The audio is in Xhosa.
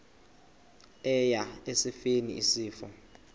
eya esifeni isifo